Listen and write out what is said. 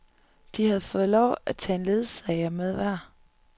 De havde fået lov at tage en ledsager med hver.